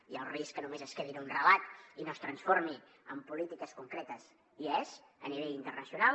hi ha el risc que només es quedi en un relat i no es transformi en polítiques concretes hi és a nivell internacional